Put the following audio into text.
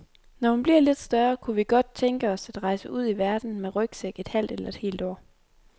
Når hun bliver lidt større, kunne vi godt tænke os at rejse ud i verden med rygsæk et halvt eller et helt år.